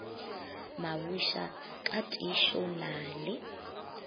mabusha ka tiišo na le